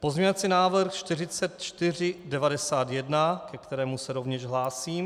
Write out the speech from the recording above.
Pozměňovací návrh 4491, ke kterému se rovněž hlásím.